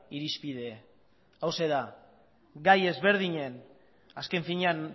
irizpide hauxe da gai ezberdinen azken finean